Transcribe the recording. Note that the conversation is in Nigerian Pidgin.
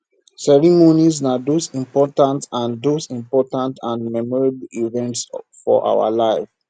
ceremonies na those important and those important and memorable events for our life